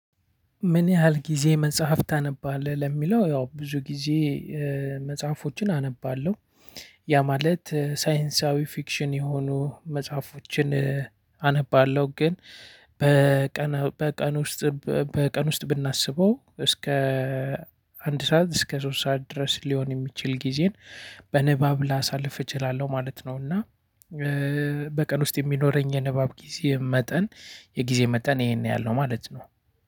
ምን ያህል ጊዜ መጽሐፍ ታነባለህ? ለሚለው ያው ብዙ ጊዜ መጽሐፎችን አነባለሁ ያ ማለት ሳይንሳዊ ፍክሽኝ የሆኑ መጽሐፎችን። አነባለሁ ግን በቀን በቀን ውስጥ በቀን ውስጥ ብናስበው እስከ አንድ ሰዓት እስከ ሶስት ሰዓት ድረስ ሊሆን የሚችል ጊዜን በንባብ ላሳልፍ እችላለሁ ማለት ነው። እና በቀን ውስጥ የሚኖረኝ የንባብ ጊዜ መጠን የጊዜ መጠን ይሄን ያህል ነው ማለት ነው።